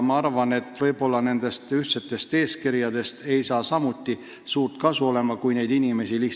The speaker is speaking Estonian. Ma arvan, et isegi ühtsetest eeskirjadest ei saa olla suurt kasu, kui inimesi napib.